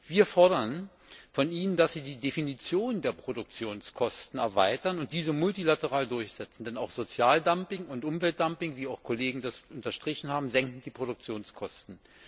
Wir fordern von Ihnen, dass Sie die Definition der Produktionskosten erweitern und diese multilateral durchsetzen, denn auch Sozialdumping und Umweltdumping wie Kollegen das bereits unterstrichen haben senken die Produktionskosten.